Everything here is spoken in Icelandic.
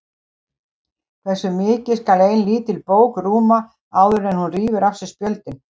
Hversu mikið skal ein lítil bók rúma áður en hún rífur af sér spjöldin?